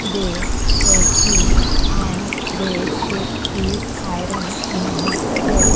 They working and their sheet is iron in a table.